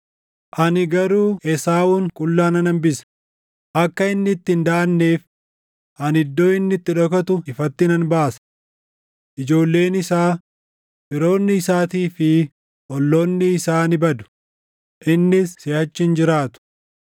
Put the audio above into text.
Ani garuu Esaawun qullaa nan hambisa; akka inni itti hin daʼanneef ani iddoo inni itti dhokatu ifatti nan baasa. Ijoolleen isaa, firoonni isaatii fi olloonni isaa ni badu; innis siʼachi hin jiraatu.